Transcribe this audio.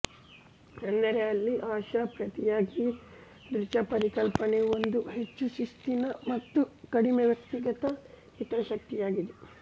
ಅಂದರೆ ಇಲ್ಲಿ ಆಶಾ ಪ್ರತಿಯಾಗಿ ದೃಜಾ ಪರಿಕಲ್ಪನೆಯು ಒಂದು ಹೆಚ್ಚು ಶಿಸ್ತಿನ ಮತ್ತು ಕಡಿಮೆ ವ್ಯಕ್ತಿಗತ ಹಿತಾಸಕ್ತಿಯದಾಗಿದೆ